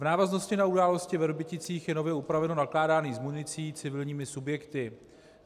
V návaznosti na události ve Vrběticích je nově upraveno nakládání s municí civilními subjekty.